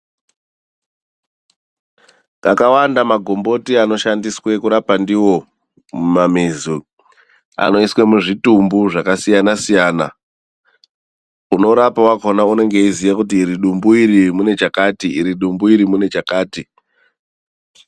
Akawanda magomboti anoshandiswe kurapa ndiwo mumamizi umu anoiswe muzvitumbu zvakasiyana siyana. Unorapa wakhona unenge eiziya kuti iri dumbu iri rine chakati, iri dumbu iri rine chakati.